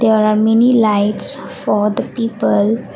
there are many lights for the people.